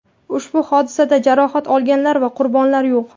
Ushbu hodisada jarohat olganlar va qurbonlar yo‘q.